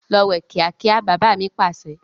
Lọ wẹ̀ kíákíá! "bàbà mi Pàṣẹ".